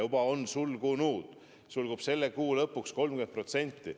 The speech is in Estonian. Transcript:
Kuu lõpuks on sellest sulgunud 30%.